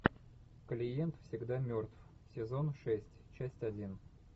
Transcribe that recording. клиент всегда мертв сезон шесть часть один